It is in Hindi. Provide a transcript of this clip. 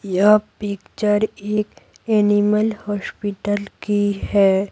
यह पिक्चर एक एनिमल हॉस्पिटल की है।